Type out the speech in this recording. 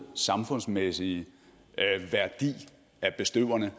samfundsmæssige værdi af bestøverne